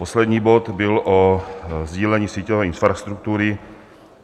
Poslední bod byl o sdílení síťové infrastruktury.